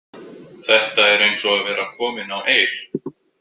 Þetta er eins og að vera komin á Eir.